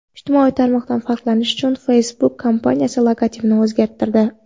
Ijtimoiy tarmoqdan farqlanish uchun Facebook kompaniyasi logotipini o‘zgartirdi.